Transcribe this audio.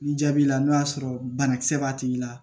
Ni jaabi la n'o y'a sɔrɔ banakisɛ b'a tigi la